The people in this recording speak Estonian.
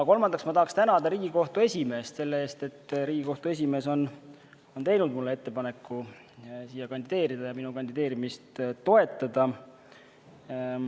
Kolmandaks ma tahaksin tänada Riigikohtu esimeest selle eest, et ta on teinud mulle ettepaneku kandideerida ja minu kandideerimist toetada.